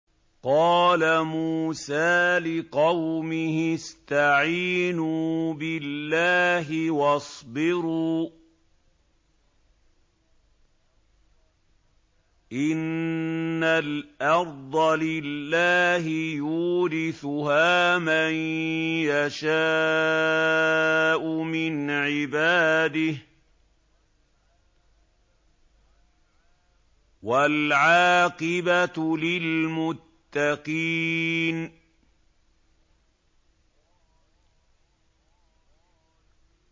قَالَ مُوسَىٰ لِقَوْمِهِ اسْتَعِينُوا بِاللَّهِ وَاصْبِرُوا ۖ إِنَّ الْأَرْضَ لِلَّهِ يُورِثُهَا مَن يَشَاءُ مِنْ عِبَادِهِ ۖ وَالْعَاقِبَةُ لِلْمُتَّقِينَ